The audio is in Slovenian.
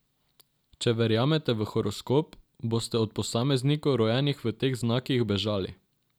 Če verjamete v horoskop, boste od posameznikov, rojenih v teh znakih, bežali.